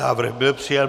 Návrh byl přijat.